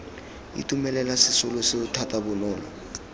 itumelela sesolo seo thata bonolo